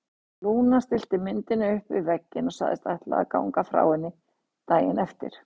Lúna stillti myndinni upp við vegginn og sagðist ætla að ganga frá henni daginn eftir.